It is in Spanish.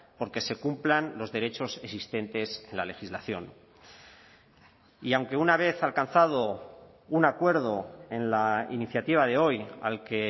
por que se cumplan los derechos existentes en la legislación y aunque una vez alcanzado un acuerdo en la iniciativa de hoy al que